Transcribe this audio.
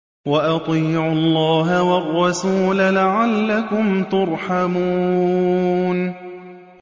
وَأَطِيعُوا اللَّهَ وَالرَّسُولَ لَعَلَّكُمْ تُرْحَمُونَ